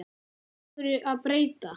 Af hverju að breyta?